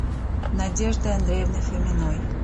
надеждой андреевной фоминой